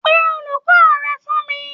Pé olùkọ rẹ fún mí!